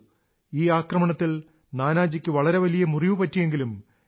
ഈ ആക്രമണത്തിൽ നാനാജിക്ക് വളരെ വലിയ മുറിവു പറ്റിയെങ്കിലും ജെ